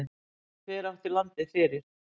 Hver átti landið fyrir?